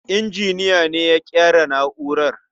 Injiniyan ne ya ƙera na'urar.